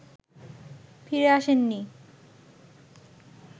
ফিরে আসেননি